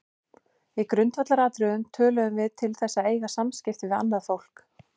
Í grundvallaratriðum tölum við til þess að eiga samskipti við annað fólk.